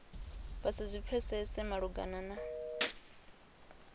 vha si zwi pfesese malugana